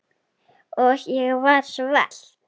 Og ég var svelt.